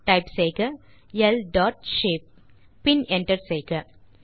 type செய்க ல் dot shape பின் என்டர் செய்க